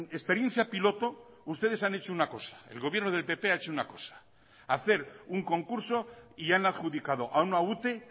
experiencia piloto ustedes han hecho una cosa el gobierno del pp ha hecho una cosa hacer un concurso y han adjudicado a una ute